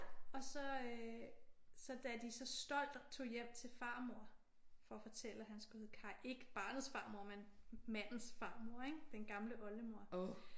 Og så øh da de så da de stolt tog hjem til farmor for at fortælle at han skulle hedde Kaj. Ikke barnets farmor men mandens farmor. Den gamle oldemor